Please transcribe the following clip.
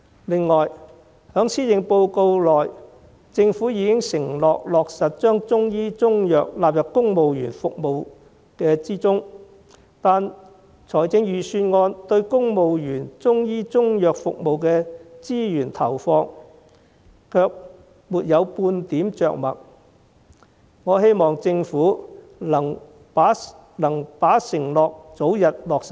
此外，在施政報告中政府已承諾落實將中醫中藥納入公務員服務之中，但預算案對公務員中醫中藥服務的資源投放卻沒有半點着墨，我希望政府能把承諾早日落實。